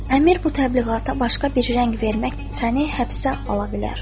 Əmir bu təbliğata başqa bir rəng vermək səni həbsə ala bilər.